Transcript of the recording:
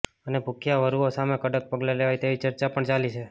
અને ભુખ્યા વરુઓ સામે કડક પગલાં લેવાય તેવી ચર્ચા પણ ચાલી છે